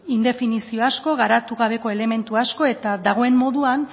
indefinizio asko garatu gabeko elementu asko eta dagoen moduan